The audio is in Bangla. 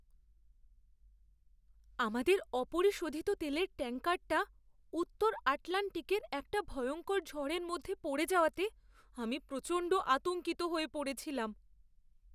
আমাদের অপরিশোধিত তেলের ট্যাঙ্কারটা উত্তর আটলান্টিকের একটা ভয়ঙ্কর ঝড়ের মধ্যে পড়ে যাওয়াতে, আমি প্রচণ্ড আতঙ্কিত হয়ে পড়েছিলাম।